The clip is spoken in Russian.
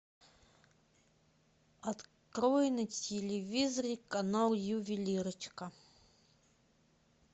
открой на телевизоре канал ювелирочка